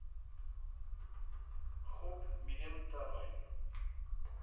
gop medium termyn